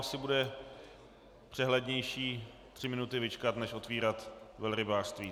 Asi bude přehlednější tři minuty vyčkat než otvírat velrybářství.